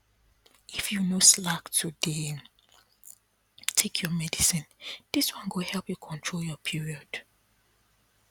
if you no slack to dey take your medicine this one go help you control your period